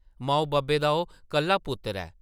माऊ-बब्बै दा ओह् कल्ला पुत्तर ऐ ।